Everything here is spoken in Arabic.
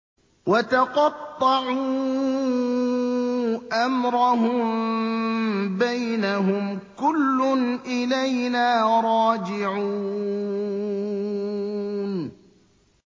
وَتَقَطَّعُوا أَمْرَهُم بَيْنَهُمْ ۖ كُلٌّ إِلَيْنَا رَاجِعُونَ